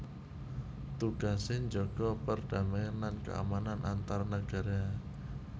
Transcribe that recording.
Tugasé njaga perdamaian lan keamanan antar nagara